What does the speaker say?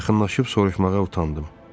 Yaxınlaşıb soruşmağa utandım.